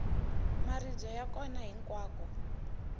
maribye ya kona hinkwako